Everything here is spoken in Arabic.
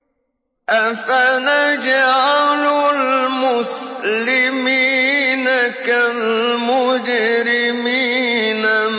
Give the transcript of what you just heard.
أَفَنَجْعَلُ الْمُسْلِمِينَ كَالْمُجْرِمِينَ